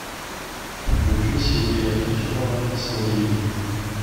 включи сергея трофимова снегири